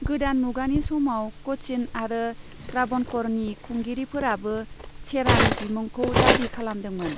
गोदान मुगानि समाव क'चिन आरो त्राबणकरनि खुंगिरिफोराबो चेरानि बिमुंखौ दाबि खालामदोंमोन।